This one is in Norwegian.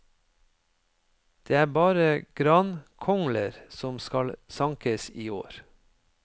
Det er bare grankongler som skal sankes i år.